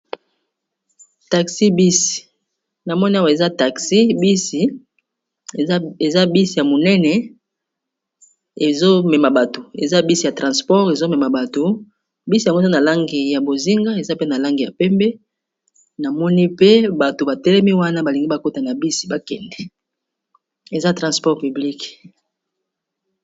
Taxi bisi na moni awa eza taxi bisi eza bisi ya monene eza bisi ya transport ezomema bato bisi yango za na langi ya bozinga, eza pe na langi ya pembe, na moni pe bato batelemi wana balingi bakota na bisi bakende eza transport piblike.